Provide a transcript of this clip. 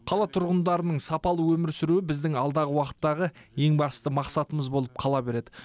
қала тұрғындарының сапалы өмір сүруі біздің алдағы уақыттағы ең басты мақсатымыз болып қала береді